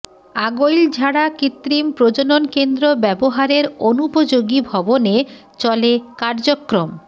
আগৈলঝাড়া কৃত্রিম প্রজনন কেন্দ্র ব্যবহারের অনুপযোগী ভবনে চলে কার্যক্রম